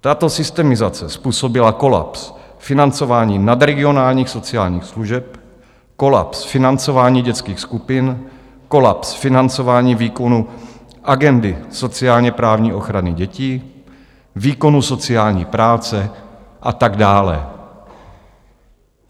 Tato systemizace způsobila kolaps financování nadregionálních sociálních služeb, kolaps financování dětských skupin, kolaps financování výkonu agendy sociálně-právní ochrany dětí, výkonu sociální práce a tak dále.